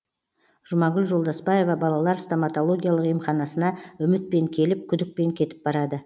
жұмагүл жолдасбаева балалар стоматологиялық емханасына үмітпен келіп күдікпен кетіп барады